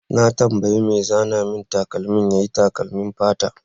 Na tambaye mai zana min takalmi yayi takalmin fata.